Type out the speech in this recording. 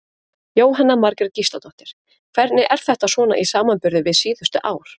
Jóhanna Margrét Gísladóttir: Hvernig er þetta svona í samanburði við síðustu ár?